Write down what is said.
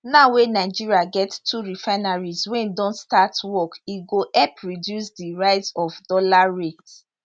now wey nigeria get two refineries wey don start work e go help reduce di rise of dollar rate